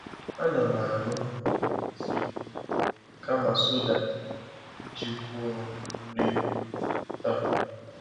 A na m aṅụ um tii um kama soda iji kwụọ nri um taa.